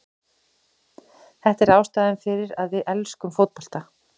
Þetta er ástæðan fyrir að við elskum fótbolta.